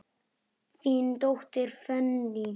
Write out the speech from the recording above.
Þín dóttir, Fanney.